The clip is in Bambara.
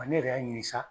Ne yɛrɛ y'a ɲinin sa